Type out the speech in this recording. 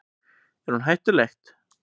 Er hún hættuleg?